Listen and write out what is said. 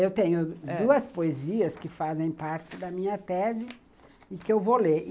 Eu tenho duas poesias que fazem parte da minha tese e que eu vou ler.